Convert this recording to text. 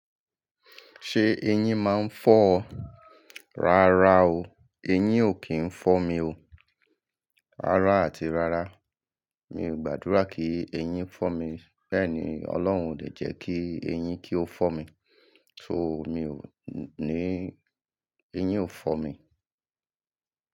Ṣé eyín máa ń fọ́ ọ? Rárá o, eyín ò kí ń fọ́ mi o. Rárá àti rárá, mi ò gbàdúrà kí eyín fọ́ mi. Bẹ́ẹ̀ ni, Ọlọ́run ò de jẹ́ kí eyín kí ó fọ́ mi. So mi ò ní, eyín ò fọ́ mi.